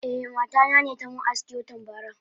Eh mata nane tamin aski watan bara.